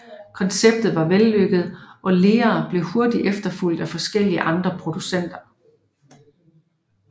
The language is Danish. Konceptet var vellykket og Lear blev hurtigt efterfulgt af forskellige andre producenter